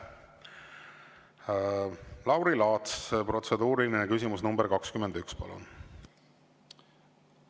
Lauri Laats, protseduuriline küsimus nr 21, palun!